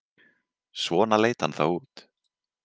Svona leit hann þá út.